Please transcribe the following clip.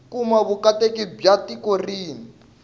kuma vuakatiko bya tiko rin